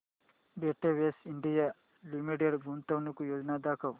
Betex India limited गुंतवणूक योजना दाखव